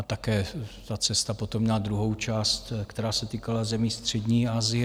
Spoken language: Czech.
A také ta cesta potom měla druhou část, která se týkala zemí střední Asie.